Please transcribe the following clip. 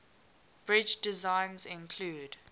bridge designs include